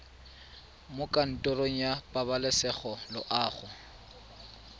mo kantorong ya pabalesego loago